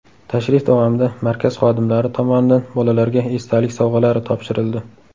Tashrif davomida markaz xodimlari tomonidan bolalarga esdalik sovg‘alari topshirildi.